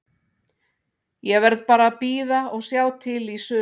Ég verð bara að bíða og sjá til í sumar.